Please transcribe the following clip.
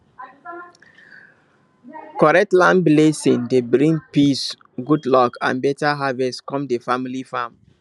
correct land blessing dey bring peace good luck and better harvest come the family farm